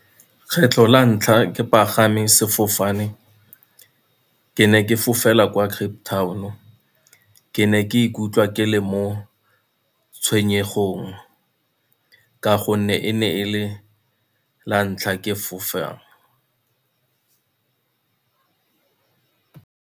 Kgetlho la ntlha ke pagame sefofane, ke ne ke fofela kwa Cape Town-o, ke ne ke ikutlwa ke le mo tshwenyegong ka gonne e ne e le lantlha ke fofang.